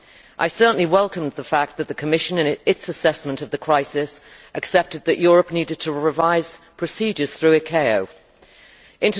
I certainly welcomed the fact that the Commission, in its assessment of the crisis, accepted that Europe needed to revise procedures through the International Civil Aviation Organisation.